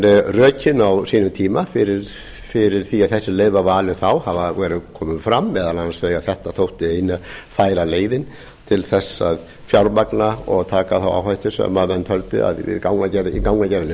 rökin á sínum tíma fyrir því að þessi leið var valin þá eru komin fram meðal annars þau að þetta þótti eina færa leiðin til að fjármagna og taka þá áhættu sem hann taldi að í gangagerðinni